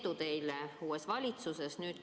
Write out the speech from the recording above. Edu teile uues valitsuses!